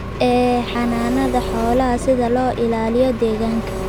ee xanaanada xoolaha si loo ilaaliyo deegaanka.